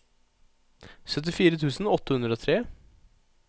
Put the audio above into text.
syttifire tusen åtte hundre og tre